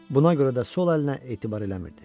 Buna görə də sol əlinə etibar eləmirdi.